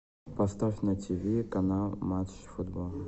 поставь на тв канал матч футбол